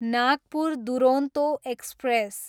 Nagpur Duronto express